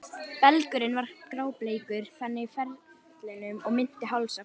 Belgurinn var grábleikur, þakinn fellingum og minnti helst á hval.